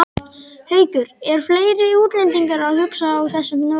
Haukur: Eru fleiri útlendingar að hugsa á þessum nótum?